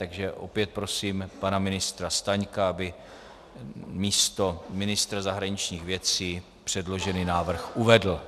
Takže opět prosím pana ministra Staňka, aby místo ministra zahraničních věcí předložený návrh uvedl.